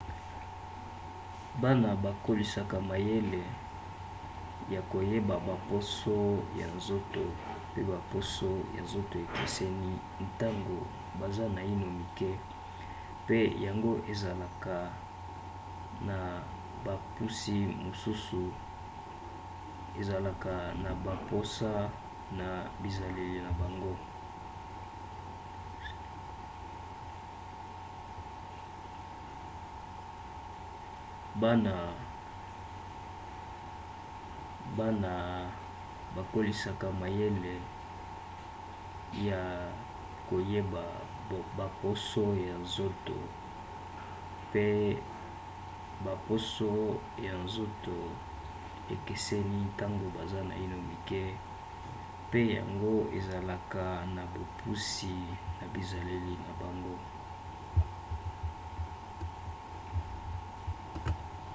bana bakolisaka mayele ya koyeba baposo ya nzoto pe baposo ya nzoto ekeseni ntango baza naino mike pe yango ezalaka na bopusi na bizaleli na bango